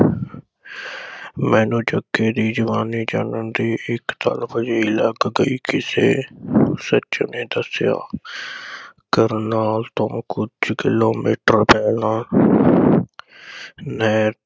ਮੈਨੂੰ ਜੱਗੇ ਦੀ ਜਵਾਨੀ ਜਾਨਣ ਦੀ ਇਕ ਤਲਬ ਜਿਹੀ ਲੱਗ ਗਈ। ਕਿਸੇ ਸੱਜਣ ਨੇ ਦੱਸਿਆ ਕਰਨਾਲ ਤੋਂ ਕੁਝ ਕਿਲੋਮੀਟਰ ਪਹਿਲਾਂ ਨਹਿਰ